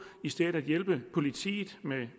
i stedet at hjælpe politiet med